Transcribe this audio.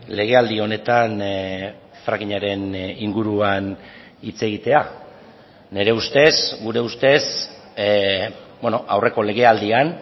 lege aldi honetan frackingaren inguruan hitz egitea nire ustez gure ustez aurreko lege aldian